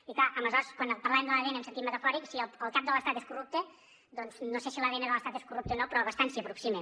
i clar aleshores quan parlàvem de l’adn en sentit metafòric si el cap de l’estat és corrupte doncs no sé si l’adn de l’estat és corrupte o no però bastant s’hi aproxima